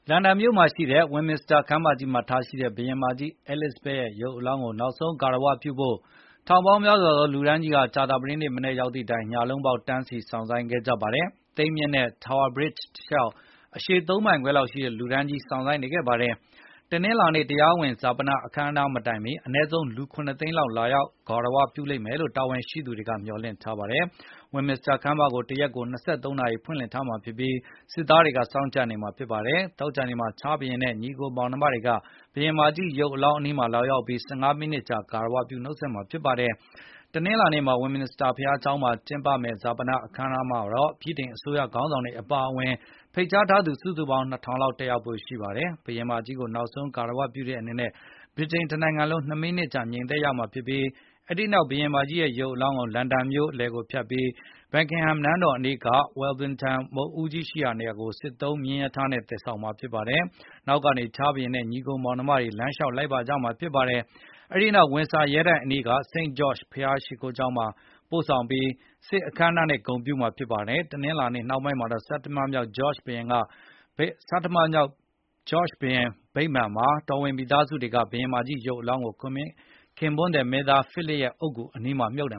လန်ဒန်မြို့မှာရှိတဲ့ Westminster ခမ်းမမှာ ထားရှိတဲ့ ဘုရင်မကြီး Elizabeth ရဲ့ရုပ်အလောင်းကို နောက်ဆုံး ဂါရဝပြုဖို့ ထောင်ပေါင်းများစွာသော လူတန်းကြီးဟာ ကြာသပတေးနေ့မနက် ရောက်သည့်တိုင် ညလုံးပေါက် တန်းစီ စောင့်ဆိုင်းခဲ့ ကြပါတယ်။ သိမ်းမြစ်ကမ်းနဲ့ Tower Bridge တလျှောက် အရှည် ၃ မိုင်ခွဲလောက်ရှိတဲ့ လူတန်းကြီး စောင့်ဆိုင်းနေခဲ့တာပါ။ တနင်္လာနေ့ တရားဝင် ဈာပန အခမ်းအနား မတိုင်မီ အနည်းဆုံး လူ ၇ သိန်းခွဲလောက် လာရောက် ဂါရဝပြုလိမ့်မယ်လို တာဝန်ရှိသူတွေက မျှော်လင့်ထားပါတယ်။ Westminster ခမ်းမကို တရက်ကို ၂၃ နာရီ ဖွင့်လှစ်ထားမှာဖြစ်ပြီး၊ စစ်သားတွေက စောင့်ကြပ်နေမှာဖြစ်ပါတယ်။ သောကြာနေ့မှာ ချားလ်စ်ဘုရင်နဲ့ ညီအကိုမောင်နှမတွေက ဘုရင်မကြီး ရုပ်အလောင်းအနီးမှာ လာရောက်ပြီး ၁၅ မိနစ်ကြာ ဂါရဝပြု နှုတ်ဆက်မှာဖြစ်ပါတယ်။ တနင်္လာနေ့ Westminster ဘုရားကျောင်းမှာ ကျင်းပမယ့် ဈာပန အခမ်းအနားမှာတော့ ဗြိတိန်အစိုးရ ခေါင်းဆောင်တွေ အပါအဝင် ဖိတ်ကြားထားသူ စုစုပေါင်း လူ ၂,၀၀၀ လောက် တက်ရောက်ဖို့ ရှိပါတယ်။ ဘုရင်မကြီးကို နောက်ဆုံး ဂါရဝပြုတဲ့အနေနဲ့ ဗြိတိန်တနိုင်ငံလုံး ၂ မိနစ် ငြိမ်သက်ရမှာဖြစ်ပြီး အဲဒီနောက် ဘုရင်မကြီးရဲ့ ရုပ်အလောင်းကို လန်ဒန်မြို့လယ်ကို ဖြတ်ပြီး Buckingham နန်းတော်အနီးက Wellington မုဒ်ဦးကြီး ရှိရာနေရာကို စစ်သုံးမြင်းရထားနဲ့ သယ်ဆောင်မှာ ဖြစ်ပါတယ်။ နောက်ကနေ ချားလ်စ်ဘုရင်နဲ့ ညီအကို မောင်နှမတွေက လမ်းလျှောက် လိုက်ပါကြမှာဖြစ်ပါတယ်။ အဲဒီနောက် ဝင်ဆာ ရဲတိုက်အနီးက St George’s ဘုရားကျောင်ကို ပို့ဆောင်ပြီး စစ်ရေးပြ အခမ်းအနားနဲ့ ဂုဏ်ပြုမှာ ဖြစ်ပါတယ်။ တနင်္လာနေ့ နှောင်းပိုင်းမှာတော့ ဆဌမမြောက် George ဘုရင်အမှတ်တရ ဗိမာန်မှာ တော်ဝင်မိသားစုတွေက ဘုရင်မကြီး ရုပ်အလောင်းကို ခင်ပွန်းသည် မင်းသား Philip အုပ်ဂူနားမှာ မြှုပ်န